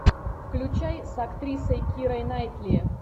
включай с актрисой кирой найтли